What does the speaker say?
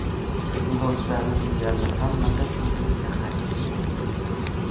Yo‘lovchilarning deyarli hammasi Chimkentga qaytib ketgan.